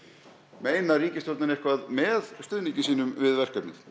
meinar ríkisstjórnin eitthvað með stuðningi sínum við verkefnið